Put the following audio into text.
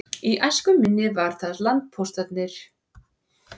Í æsku minni voru það landpóstarnir sem sáu um samgöngur á landi.